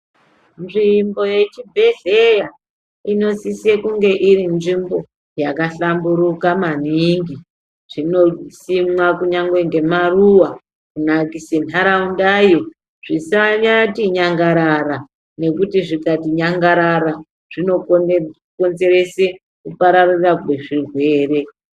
Nzvimbo yechibhedhleya inosisa kunge iri nzvimbo yakahlamburuka maningi. Zvinosimwa kunyange ngemaruwa kunakisa ntharaundayo. Zvisati nyangarara nokuti zvikati nyangarara zvinokonzeresa kupararira kwezvirwere.